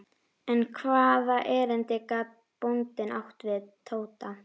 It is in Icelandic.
En hvaða erindi gat bóndinn átt við Tóta?